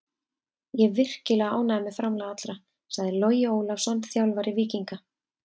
Ég er virkilega ánægður með framlag allra, sagði Logi Ólafsson, þjálfari Víkinga.